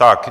Tak.